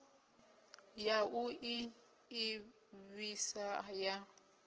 ya u ḓi ḓivhisa ya